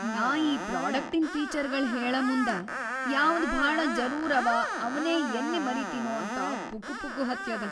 ನಾ ಈ ಪ್ರೋಡಕ್ಟಿನ್‌ ಫೀಚರ್‌ಗಳ್‌ ಹೇಳಮುಂದ ಯಾವ್ದ್‌ ಭಾಳ ಜರೂರ್‌ ಅವ ಅವ್ನೇ ಯಲ್ಲಿ ಮರೀತಿನೊ ಅಂತ ಪುಕುಪುಕು ಹತ್ಯದ.